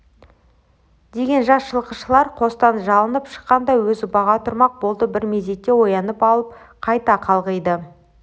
деген жас жылқышылар қостан жылынып шыққанша өзі баға тұрмақ болды бір мезетте оянып алып қайта қалғиды